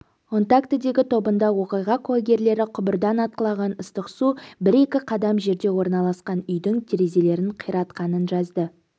онтактедегі тобында оқиға куәгерлері құбырдан атқылаған ыстық су бір-екі қадам жерде орналасқан үйдің терезелерін қиратқанын жазды